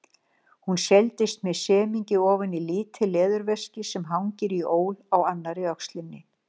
Hún seilist með semingi ofan í lítið leðurveski sem hangir í ól á annarri öxlinni.